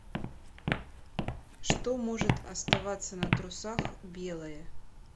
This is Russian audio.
что может оставаться на трусах белое